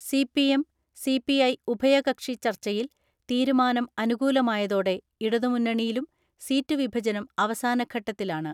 CPM, CPI ഉഭയകക്ഷി ചർച്ചയിൽ തീരുമാനം അനുകൂലമായതോടെ ഇടതുമുന്നണിയിലും സീറ്റു വിഭജനം അവസാനഘട്ടത്തിലാണ്.